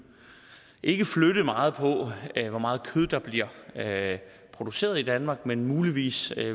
ikke flytte meget på hvor meget kød der bliver produceret i danmark men muligvis